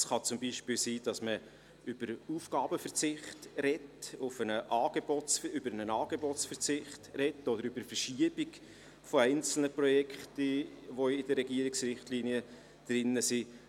Es kann zum Beispiel sein, dass man über einen Angebotsverzicht spricht oder über die Verschiebung einzelner Projekte, die in den Regierungsrichtlinien enthalten sind.